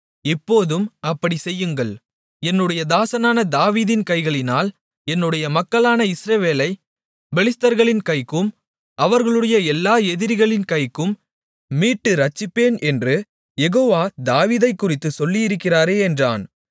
இப்போதும் அப்படிச் செய்யுங்கள் என்னுடைய தாசனான தாவீதின் கைகளினால் என்னுடைய மக்களான இஸ்ரவேலைப் பெலிஸ்தர்களின் கைக்கும் அவர்களுடைய எல்லா எதிரிகளின் கைகளுக்கும் மீட்டு இரட்சிப்பேன் என்று யெகோவா தாவீதைக்குறித்துச் சொல்லியிருக்கிறாரே என்றான்